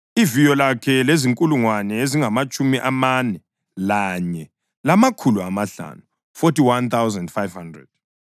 Iviyo lakhe lizinkulungwane ezingamatshumi amane lanye, lamakhulu amahlanu (41,500).